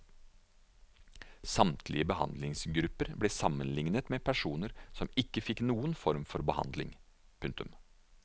Samtlige behandlingsgrupper ble sammenlignet med personer som ikke fikk noen form for behandling. punktum